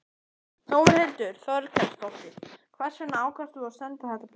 Þórhildur Þorkelsdóttir: Hvers vegna ákvaðstu að senda þetta bréf?